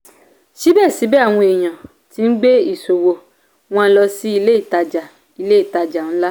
síbẹ̀síbẹ̀ àwọn ènìyàn ti ń gbé ìṣòwò wọn lọ sí ilé ìtàjà ilé ìtàjà ńlá.